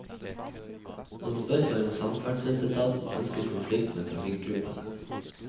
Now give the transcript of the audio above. Man spør seg om samferdselsetaten ønsker konflikt mellom trafikkgruppene.